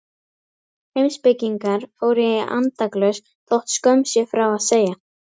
Heimspekingar fóru í andaglös þótt skömm sé frá að segja.